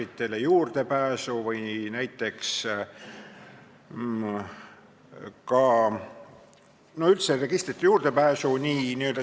Aga terve joru muudatusettepanekuid on jälle omakorda sellised, mis olid olemas algses eelnõus, kus eelnõu algataja sättis igasuguseid piiranguid, ennekõike jälle ajakirjandusele.